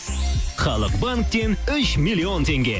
халық банктен үш миллион теңге